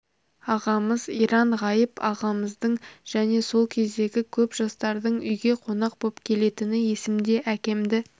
ағамыз иран ғайып ағамыздың және сол кездегі көп жастардың үйге қонақ боп келетіні есімде әкемді